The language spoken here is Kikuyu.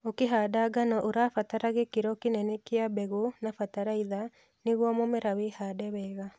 Ũkĩhanda ngano, ũrabatala gĩkĩro kĩnene kĩa mbegũ na batalaitha nĩguo mũmera wĩhande wega